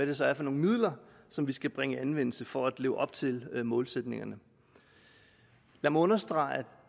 det så er for nogle midler som vi skal bringe i anvendelse for at leve op til målsætningerne jeg må understrege at